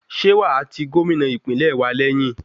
Ṣé wàá ti Gómìnà ìpínlẹ̀ wa lẹ́yìn?